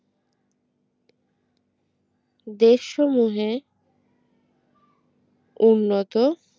দেশ সমূহে উন্নত